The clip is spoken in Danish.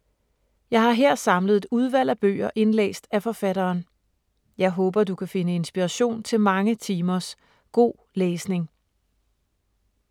Jeg har her samlet et udvalg af bøger indlæst af forfatteren. Jeg håber, du kan finde inspiration til mange timers god læsning.